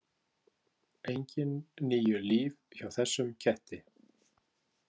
Engin níu líf hjá þessum ketti.